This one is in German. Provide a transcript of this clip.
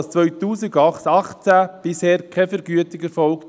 2018 ist bisher keine Vergütung erfolgt.